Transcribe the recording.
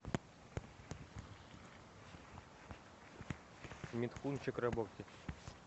митхун чакраборти